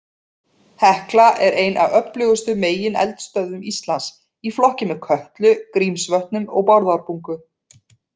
Hekla er ein af öflugustu megineldstöðvum Íslands, í flokki með Kötlu, Grímsvötnum og Bárðarbungu.